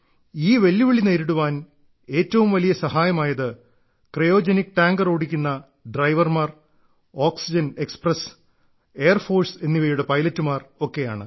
ഈ വെല്ലുവിളി നേരിടാൻ ഏറ്റവും വലിയ സഹായമായത് ക്രയോജനിക് ടാങ്കർ ഓടിക്കുന്ന ഡ്രൈവർമാർ ഓക്സിജൻ എക്സ്പ്രസ്സ് എയർഫോഴ്സ് എന്നിവയുടെ പൈലറ്റുമാർ ഒക്കെയാണ്